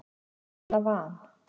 eða van.